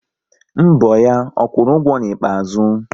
Mbọ ya, ọ kwụrụ ụgwọ n'ikpeazụ?